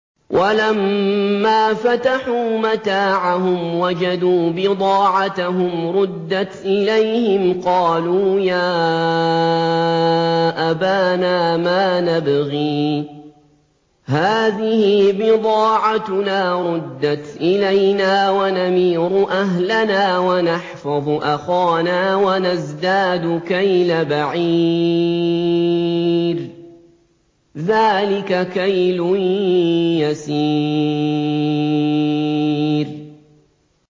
وَلَمَّا فَتَحُوا مَتَاعَهُمْ وَجَدُوا بِضَاعَتَهُمْ رُدَّتْ إِلَيْهِمْ ۖ قَالُوا يَا أَبَانَا مَا نَبْغِي ۖ هَٰذِهِ بِضَاعَتُنَا رُدَّتْ إِلَيْنَا ۖ وَنَمِيرُ أَهْلَنَا وَنَحْفَظُ أَخَانَا وَنَزْدَادُ كَيْلَ بَعِيرٍ ۖ ذَٰلِكَ كَيْلٌ يَسِيرٌ